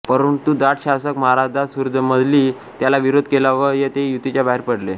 परंतु जाट शासक महाराजा सूरजमलनी त्याला विरोध केला व ते युतीच्या बाहेर पडले